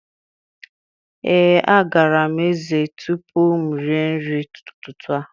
Ee, agara m ezé tupu m erie nri ụtụtụ a.